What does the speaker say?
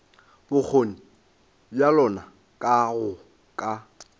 bokgoni bja lona go ka